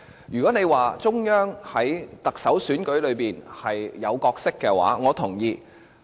如果大家說中央在行政長官選舉中有角色，我同意。